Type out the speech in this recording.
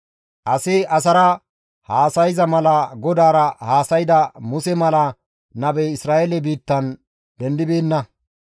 Asi asara haasayza mala GODAARA haasayda Muse mala nabey Isra7eele biittan dendibeenna.